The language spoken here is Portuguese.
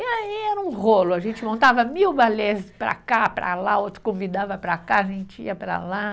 E aí era um rolo, a gente montava mil balés para cá, para lá, outro convidava para cá, a gente ia para lá.